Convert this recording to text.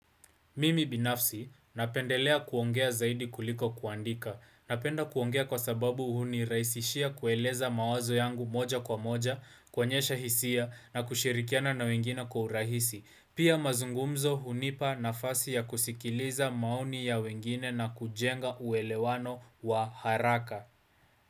Mimi binafsi napendelea kuongea zaidi kuliko kuandika. Napenda kuongea kwa sababu hunirahisishia kueleza mawazo yangu moja kwa moja, kuonyesha hisia na kushirikiana na wengine kwa urahisi. Pia mazungumzo hunipa nafasi ya kusikiliza maoni ya wengine na kujenga uelewano wa haraka.